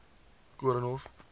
koornhof